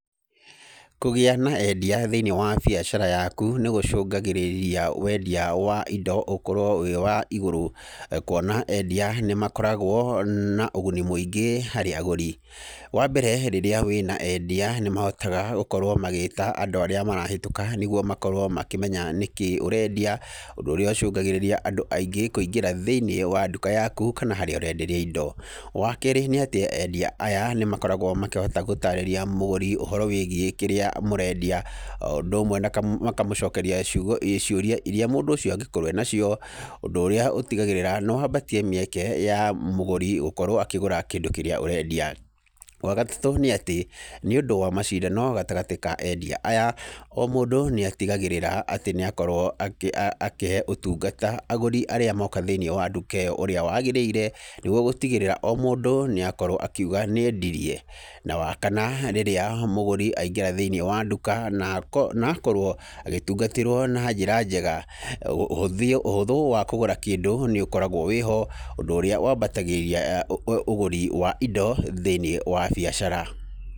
Kũgĩa na endia thĩiniĩ wa biacara yaku nĩgũcũngagĩrĩria wendia wa indo ũkorwo wĩ wa igũrũ, kuona endia nĩmakoragwo na ũguni mũingĩ harĩ agũri. Wambere rĩrĩa wĩna endia nĩmahotaga gũkorwo magĩta andũ arĩa marahĩtũka nĩguo makorwo makĩmenya nĩkĩĩ ũrendia, ũndũ ũrĩa ũcũngagĩrĩria andũ aingĩ kũingĩra thĩiniĩ wa nduka yaku kana harĩa ũrenderia indo. Wakerĩ nĩatĩ endia aya nĩmakoragwo makĩhota gũtarĩria mũgũri ũhoro wĩgiĩ kĩrĩa mũrendia, o ũndũ ũmwe makamũcokeria ciugo ciũria iria mũndũ ũcio angĩkorwo enacio, ũndũ ũrĩa ũtigagĩrĩra nĩwambatia mĩeke ya mũgũri gũkorwo akĩgũra kĩndũ kĩrĩa ũrendia. Wagaatũ nĩatĩ, nĩũndũ wa macindano gatagatĩ ka endia aya, o mũndũ nĩatigagĩrĩra atĩ nĩakorwo akĩhe ũtungata agũri arĩa moka thĩiniĩ wa nduka ĩyo ũrĩa wagĩrĩire, nĩguo gũtigĩrĩra o mũndũ nĩakorwo akiuga nĩendirie. Na, wa kana rĩrĩa mũgũri aingĩra thĩiniĩ wa nduka na akorwo agĩtungatĩrwo na njĩra njega, ũhũthia ũhũthũ wa kũgũra kĩndũ nĩũkoragwo wĩho ũndũ ũrĩa wambatagĩria ũgũri wa indo thĩiniĩ wa biacara.